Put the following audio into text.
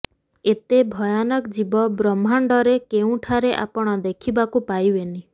ଏତେ ଭୟାନକ ଜୀବ ବ୍ରହ୍ମାଣ୍ଡରେ କେଉଁଠାରେ ଆପଣ ଦେଖିବାକୁ ପାଇବେନି